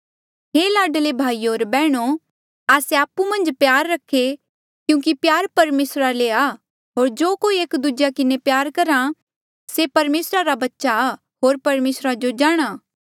हे लाडले भाईयो होर बैहणो आस्से आपु मन्झ प्यार रखे क्यूंकि प्यार परमेसरा ले आ होर जो कोई एक दूजेया किन्हें प्यार करहा से परमेसरा रे बच्चे ऐें होर परमेसरा जो जाणहां